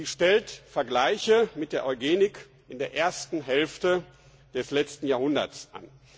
Sie stellt Vergleiche mit der Eugenik in der ersten Hälfte des letzten Jahrhunderts an.